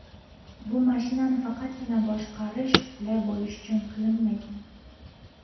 Bu mashinani faqatgina boshqarish qulay bo‘lishi uchun qilinmagan.